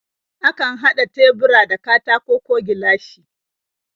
Akan haɗa tebura da katako ko gilashi.